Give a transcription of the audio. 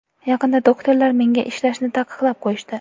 Yaqinda doktorlar menga ishlashni taqiqlab qo‘yishdi.